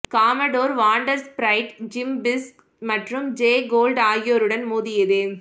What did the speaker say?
commodore Vanderbilt Jim Fisk மற்றும் Jay Gould ஆகியோருடன் மோதியது